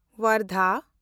Wardha